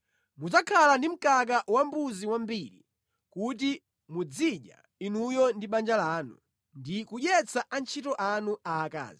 Mudzakhala ndi mkaka wambuzi wambiri kuti muzidya inuyo ndi banja lanu ndi kudyetsa antchito anu aakazi.